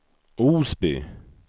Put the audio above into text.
Osby